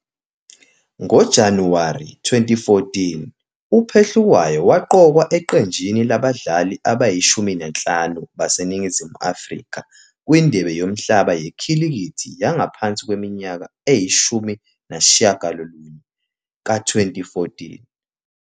NgoJanuwari 2014,uPhehlukwayo waqokwa eqenjini labadlali abangu-15 baseNingizimu Afrika kwiNdebe Yomhlaba Yekhilikithi Yangaphansi Kweminyaka Engu-19 ka-2014.